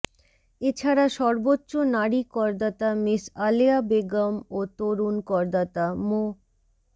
এছাড়া সর্বোচ্চ নারী করদাতা মিস আলেয়া বেগম ও তরুণ করদাতা মো